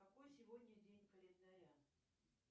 какой сегодня день календаря